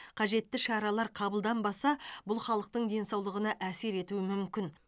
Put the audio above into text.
қажетті шаралар қабылданбаса бұл халықтың денсаулығына әсер етуі мүмкін